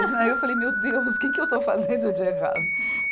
Aí eu falei, meu Deus, o que que eu estou fazendo de errado?